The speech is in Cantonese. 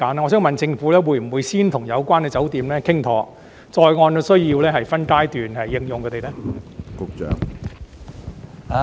我想問政府，會否先與有關酒店談妥，然後再按需要分階段徵用它們呢？